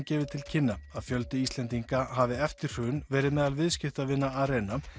gefi til kynna að fjöldi Íslendinga hafi eftir hrun verið meðal viðskiptavina Arena